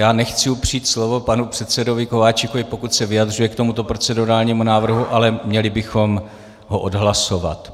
Já nechci upřít slovo panu předsedovi Kováčikovi, pokud se vyjadřuje k tomuto procedurálnímu návrhu, ale měli bychom ho odhlasovat.